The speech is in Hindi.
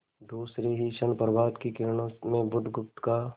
दूसरे ही क्षण प्रभात की किरणों में बुधगुप्त का